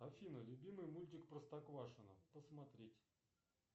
афина любимый мультик простоквашино посмотреть